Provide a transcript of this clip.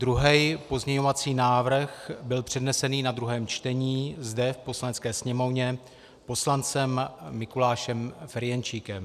Druhý pozměňovací návrh byl přednesen na druhém čtení zde v Poslanecké sněmovně poslancem Mikulášem Ferjenčíkem.